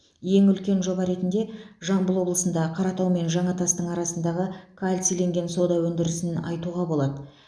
ең үлкен жоба ретінде жамбыл облысында қаратау мен жаңатастың арасындағы кальциленген сода өндірісін айтуға болады